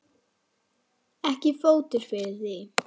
Ekki er fótur fyrir því.